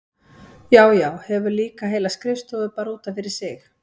Já, já, hefur líka heila skrifstofu bara út af fyrir sig!